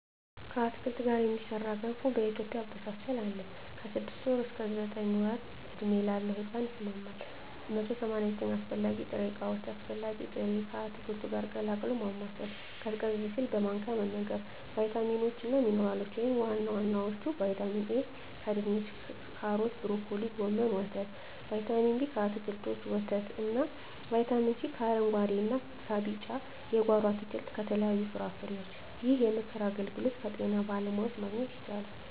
ከአትክልት ጋር የሚሠራ ገንፎ በኢትዮጵያ አበሳሰል አለ። ከ6 ወር እስከ 9 ወር ዕድሜ ላለው ሕጻን ይስማማል። 189 አስፈላጊ ጥሬ ዕቃዎች አስፈላጊ ጥሬ...፣ ከአትክልቱ ጋር ቀላቅሎ ማማሰል፣ ቀዝቀዝ ሲል በማንኪያ መመገብ። , ቫይታሚኖች እና ሚንራሎች(ዋና ዋናዎቹ) ✔️ ቫይታሚን ኤ: ከድንች ካሮት ብሮኮሊ ጎመን ወተት ✔️ ቫይታሚን ቢ: ከአትክልቶች ወተት እና ✔️ ቫይታሚን ሲ: ከአረንጉአዴ እና ቢጫ የጓሮ አትክልት ከተለያዩ ፍራፍሬዎች ይህንን የምክር አገልግሎት ከጤና ባለሙያዎች ማግኘት ይቻላል።